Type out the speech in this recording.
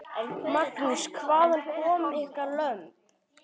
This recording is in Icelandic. Magnús: Hvaðan koma ykkar lömb?